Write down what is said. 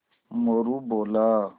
मोरू बोला